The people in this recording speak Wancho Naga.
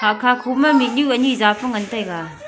hahkha khoma mihnu ani zaapu ngantaiga.